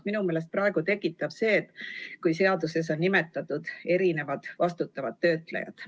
Minu meelest tekitab segadust praegu see, et seaduses on nimetatud erinevad vastutavad töötlejad.